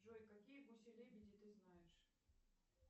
джой какие гуси лебеди ты знаешь